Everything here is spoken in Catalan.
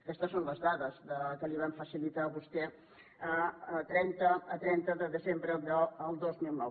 aquestes són les dades que li vam facilitar a vostè a trenta de desembre del dos mil nou